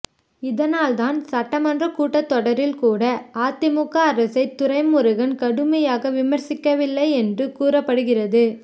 இதனால்தான் சட்டமன்ற கூட்டத்தொடரில் கூட அதிமுக அரசை துரைமுருகன் கடுமையாக விமர்சிக்கவில்லை என்று கூறப்படுகிறது